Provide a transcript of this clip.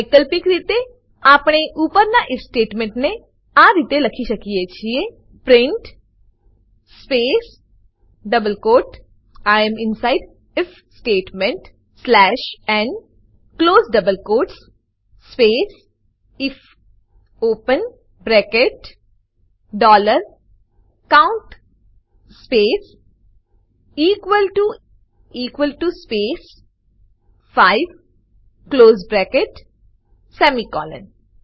વૈકલ્પિક રીતે આપણે ઉપરના ઇફ સ્ટેટમેન્ટ ને આ રીતે લખી શકીએ છીએ print space double quotes I am inside I F statement slash n close double quotes space I F open bracket dollar count space equal T O equal T O space 5 close bracket semicolon